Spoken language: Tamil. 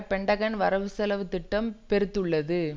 பென்டகன் வரவு செலவு திட்டம் பெருத்துள்ளது